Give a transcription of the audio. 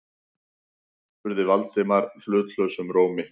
spurði Valdimar hlutlausum rómi.